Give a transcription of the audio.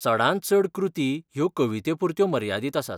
चडांत चड कृती ह्यो कवितेपुरत्यो मर्यादीत आसात.